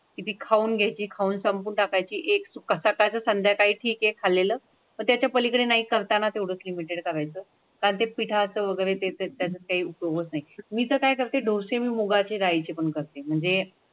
घ्यायची खाऊन संपूर्ण टाकायची एक्सओ कसा काय संध्याकाळी ठीक आहे चालेलं मग त्याच्या पलीकडे काही करताना तेवढेच लिमीटेड करायचं काय ते पिठाचं वगैरे ते त्याचा काही उपयोग नाही. मी तर काय करते डोसे मुगाची दालिचे पण करते म्हणजे.